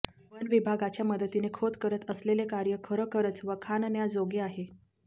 one विभागाच्या मदतीने खोत करत असलेले कार्य खरोखरच वाखाणण्याजोगे आहे